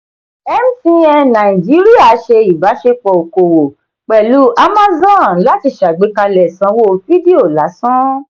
mtn nàìjíríà ṣe ibasepọ òkòwò pẹlu amazon láti ṣàgbékalẹ̀ sanwó fidio lásán.